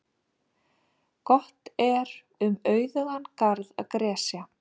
Gott er um auðugan garð að gresja.